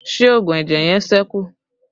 Ṣé oògùn ẹ̀jẹ̀ yẹn sẹ́kù?